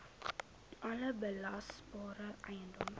alle belasbare eiendom